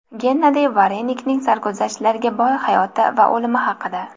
Gennadiy Varenikning sarguzashtlarga boy hayoti va o‘limi haqida.